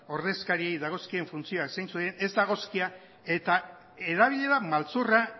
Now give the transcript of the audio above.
ordezkariei dagozkien funtzioak zeintzuk diren eta erabilera maltzurra